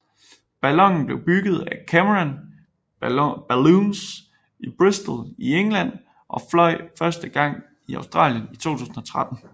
Ballonen blev bygget af Cameron Balloons i Bristol i England og fløj første gang i Australien i 2013